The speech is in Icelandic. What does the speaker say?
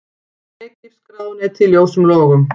Egypskt ráðuneyti í ljósum logum